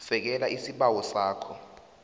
sekela isibawo sakho